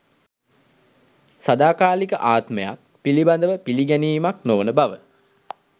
සදාකාලික ආත්මයක් පිළිබඳව පිළිගැනීමක් නොවන බව